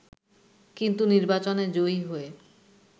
কিন্তু নির্বাচনে জয়ী হয়ে